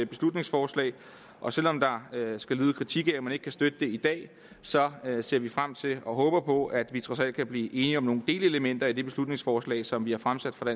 beslutningsforslag og selv om der skal lyde kritik af at man ikke kan støtte det i dag så ser vi frem til og håber på at vi trods alt kan blive enige om nogle delelementer i det beslutningsforslag som vi har fremsat fra